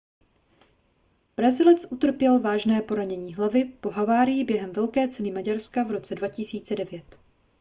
brazilec utrpěl vážné poranění hlavy po havárii během velké ceny maďarska v roce 2009